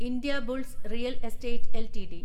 Indiabulls real estate LTD